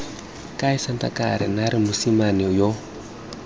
kae sankatane naare mosimane yo